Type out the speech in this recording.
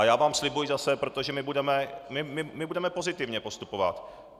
A já vám slibuji zase, protože my budeme pozitivně postupovat.